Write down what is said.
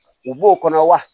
U b'o kɔnɔ wa